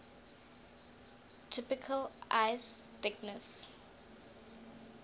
typical ice thickness